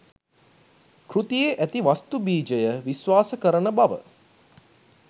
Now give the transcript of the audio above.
කෘතියේ ඇති වස්තු බීජය විශ්වාස කරන බව